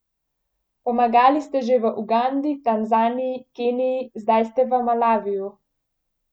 Pomagali ste že v Ugandi, Tanzaniji, Keniji, zdaj ste v Malaviju.